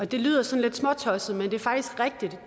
det lyder sådan lidt småtosset men